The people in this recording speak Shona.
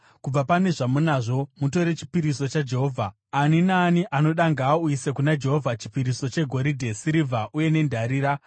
Kubva pane zvamunazvo, mutore chipiriso chaJehovha. Ani naani anoda ngaauyise kuna Jehovha chipiriso: “chegoridhe, sirivha uye nendarira;